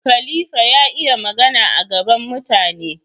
khAlifa ya iya Magana a gaban mutane